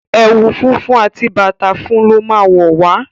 Ewu funfun àti bàtá fún lọ má wọ wá.